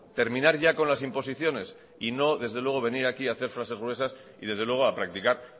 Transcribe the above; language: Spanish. terminar ya con las imposiciones y no desde luego venir aquí hacer frases gruesas y desde luego a practicar